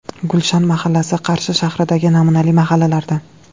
Gulshan mahallasi Qarshi shahridagi namunali mahallalardan.